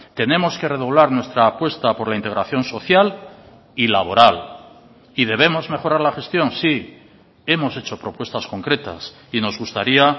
tenemos que redoblar nuestra apuesta por la integración social y laboral y debemos mejorar la gestión sí hemos hecho propuestas concretas y nos gustaría